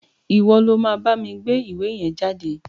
Ìwo lo ma bámi gbé ìwé yen jáde